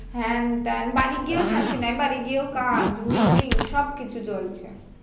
হ্যাঁ তা বাড়ি গিয়েও শান্তি নাই বাড়ি গিয়েও কাজ meeting সব কিছু চলছে